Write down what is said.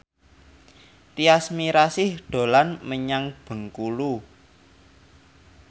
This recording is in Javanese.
Tyas Mirasih dolan menyang Bengkulu